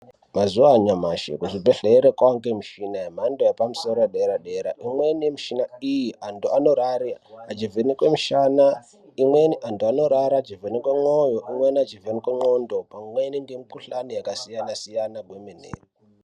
Mazuva anyamashi muzvibhedhlera kwaava nemushina yepamusoro yepadera dera imweni yemuchina iyi antu anorare achivhenekwe mushana imweni antu anorara achivhenekwe mwoyo imweni achivhenekwe ndxondo pamweni nemukuhlani yakasiyana siyana kwemene.